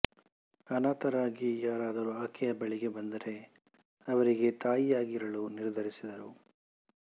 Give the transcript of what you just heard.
ಅನಾಥರಾಗಿ ಯಾರಾದರೂ ಆಕೆಯ ಬಳಿಗೆ ಬಂದರೆ ಅವರಿಗೆ ತಾಯಿಯಾಗಿರಲು ನಿರ್ಧರಿಸಿದರು